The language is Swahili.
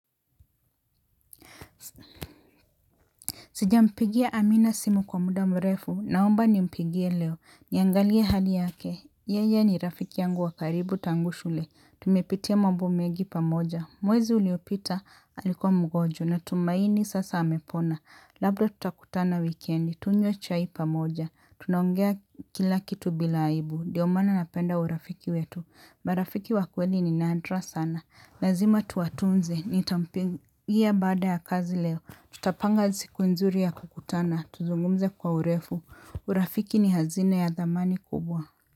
Sijampigia amina simu kwa muda mrefu. Naomba ni mpigie leo. Niangalie hali yake. Yeye ni rafiki yangu wa karibu tangu shule. Tumepitia mambo mengi pamoja. Mwezi uliopita alikuwa mgonjwa natumaini sasa amepona. Labda tutakutana wikendi. Tunywe chai pamoja. Tunaongea kila kitu bila aibu. Ndio maana napenda urafiki wetu. Marafiki wa kweli ni nadra sana. Lazima tuwatunze. Nitampigia baada ya kazi leo. Tutapanga siku nzuri ya kukutana, tuzungumze kwa urefu, urafiki ni hazina ya dhamani kubwa.